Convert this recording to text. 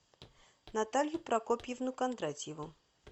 наталью прокопьевну кондратьеву